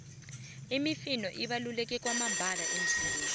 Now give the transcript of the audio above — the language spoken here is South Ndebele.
imifino ibaluleke kwamambala emizimbeni